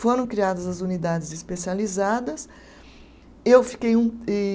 Foram criadas as unidades especializadas. Eu fiquei um e